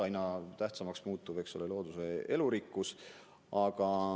Aina tähtsamaks muutub looduse elurikkus.